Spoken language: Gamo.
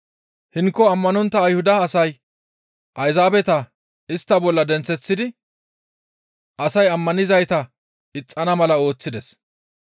Hinko ammanontta Ayhuda asay Ayzaabeta istta bolla denththeththidi asay ammanizayta ixxana mala ooththides.